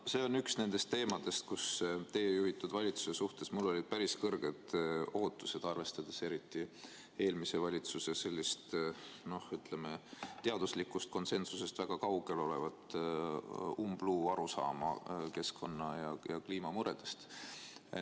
See on üks nendest teemadest, millega seoses mul olid teie juhitud valitsuse suhtes päris suured ootused, arvestades eelmise valitsuse sellist teaduslikust konsensusest väga kaugel olevat umbluuarusaama keskkonna- ja kliimamuredest.